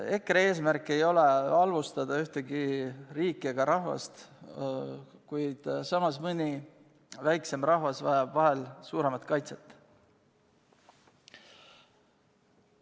EKRE eesmärk ei ole halvustada ühtegi riiki ega rahvast, kuid samas vajab mõni väiksem rahvas vahel suuremat kaitset.